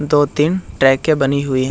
दो तीन ट्रेके बनी हुई है।